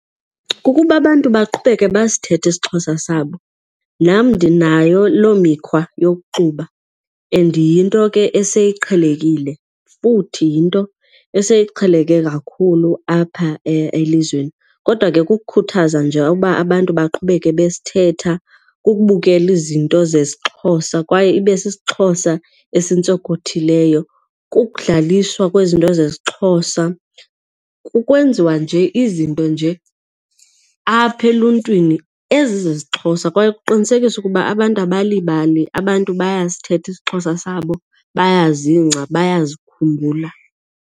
Kukuba abantu baqhubeke basithethe isiXhosa sabo. Nam ndinayo loo mikhwa yokuxuba and yinto ke eseyiqhelekile futhi yinto eseyiqheleke kakhulu apha elizweni kodwa ke kukukhuthaza nje uba abantu baqhubeke basithetha. Kukubukela izinto zesiXhosa kwaye ibe sisiXhosa esintsonkothileyo, kukudlaliswa kwezinto zesiXhosa. Kukwenziwa nje izinto nje kum apha eluntwini ezi zesiXhosa kwaye kuqinisekiswe ukuba abantu abalibali, abantu bayasithetha isiXhosa sabo bayazingca bayazikhumbula.